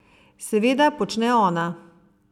Seveda počne ona.